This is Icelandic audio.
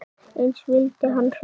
Eins vildi hann hlusta.